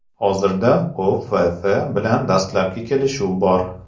Hozirda O‘FF bilan dastlabki kelishuv bor.